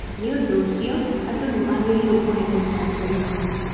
Nĩ ũndũ ũcio, andũ nĩ magĩrĩirũo kũheo njajo ĩyo biũ.